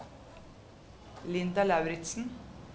Linda Lauritsen